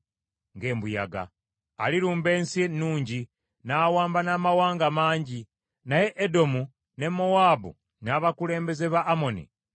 Alirumba Ensi Ennungi n’awamba n’amawanga mangi, naye Edomu ne Mowaabu n’abakulembeze ba Amoni balimuwona.